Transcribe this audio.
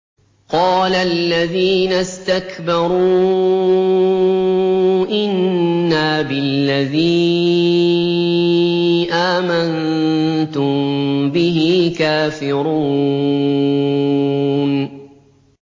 قَالَ الَّذِينَ اسْتَكْبَرُوا إِنَّا بِالَّذِي آمَنتُم بِهِ كَافِرُونَ